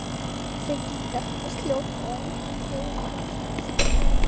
Tryggingarnar hljóta að endurgreiða þegar svona stendur á.